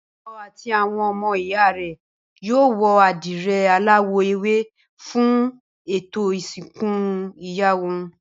Bímpé àti àwọn ọmọ ìyá rẹ̀ yóò wọ àdìrẹ aláwọ̀ ewé fún ètò ìsìnkú ìyá wọn